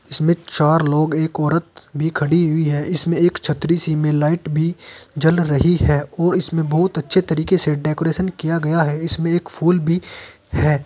इसमें चार लोग एक औरत भी खड़ी हुई है। इसमें एक छतरी सी में लाइट भी जल रही है और इसमें बोहोत अच्छे तरीके से डेकोरेशन किया गया है। इसमें एक फूल भी है।